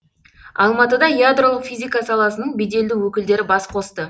алматыда ядролық физика саласының беделді өкілдері бас қосты